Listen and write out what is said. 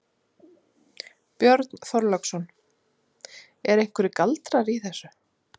Björn Þorláksson: Eru einhverjir galdrar í þessu?